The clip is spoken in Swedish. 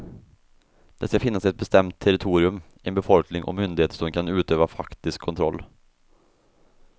Det ska finnas ett bestämt territorium, en befolkning och myndigheter som kan utöva faktisk kontroll.